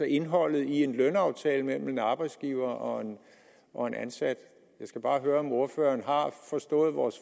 indholdet i en lønaftale mellem en arbejdsgiver og og en ansat jeg skal bare høre om ordføreren har forstået vores